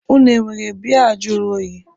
Unu enwere biya juru oyi?